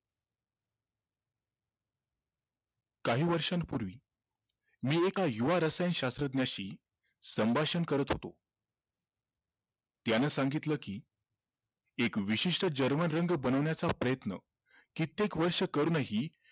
काही वर्षांपूर्वी मी एका युवा रसायन शास्त्रज्ञांशी संभाषण करत होतो त्यानं सांगितलं कि एक विशिष्ठ रंग बनवण्याचा प्रयत्न कित्येक वर्ष करूनही